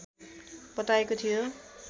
बताएको थियो